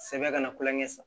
Sɛbɛn kana kulonkɛ san